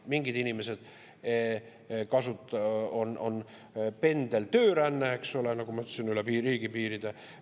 Mingite inimeste puhul on pendeltööränne, eks ole, nagu ma ütlesin, üle riigipiiride.